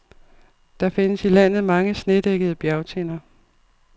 Der findes i landet mange, snedækkede bjergtinder.